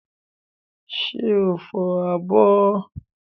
Ṣé o fọ abọ́?